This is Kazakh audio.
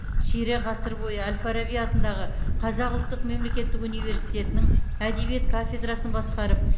ширек ғасыр бойы әл фараби атындағы қазақ ұлттық мемлекеттік университетінің әдебиет кафедрасын басқарып